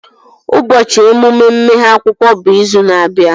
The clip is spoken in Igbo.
Ụbọchị emume mmeghe akwụkwọ bụ izu na-abịa